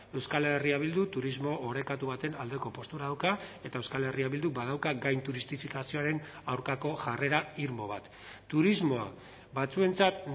euskal herria bildu turismo orekatu baten aldeko postura dauka eta euskal herria bilduk badauka gainturistifikazioaren aurkako jarrera irmo bat turismoa batzuentzat